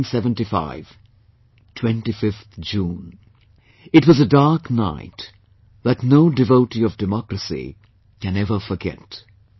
1975 25th June it was a dark night that no devotee of democracy can ever forget